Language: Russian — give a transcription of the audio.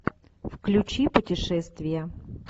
включи путешествия